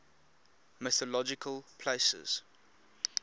mythological places